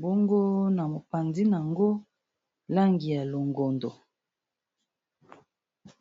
bongo na mopandin yango langi ya longondo.